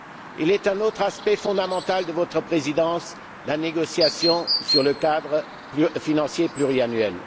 Il est un autre aspect fondamental de votre présidence la négociation sur le cadre financier pluriannuel.